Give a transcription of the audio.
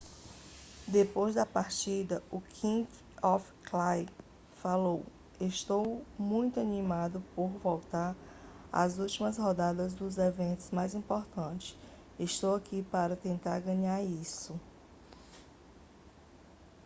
depois da partida o king of clay falou estou muito animado por voltar para as últimas rodadas dos eventos mais importantes estou aqui para tentar ganhar isso